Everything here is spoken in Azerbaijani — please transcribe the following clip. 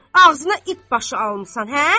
Ağzına it başı almısan hə?